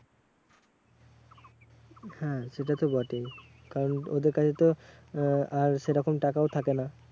হ্যাঁ সেটা তো বটেই। কারণ ওদের কাছে তো আহ আর সেরকম টাকাও থাকে না।